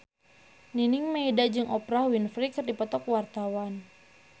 Nining Meida jeung Oprah Winfrey keur dipoto ku wartawan